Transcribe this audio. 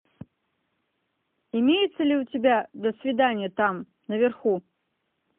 имеется ли у тебя до свидания там наверху